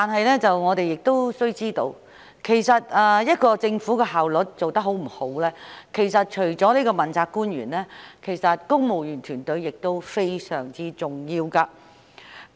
然而，須知道一個政府的效率高低，除了問責官員，公務員團隊也非常重要。